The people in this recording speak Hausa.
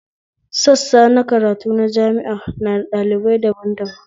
Sassa na karatu na jami'a na da ɗalibai daban daban